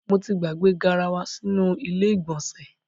Mo ti gbàgbé garawa sínú ilé ìgbọ̀nsẹ̀.